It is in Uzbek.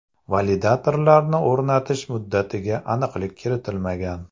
Validatorlarni o‘rnatish muddatiga aniqlik kiritilmagan.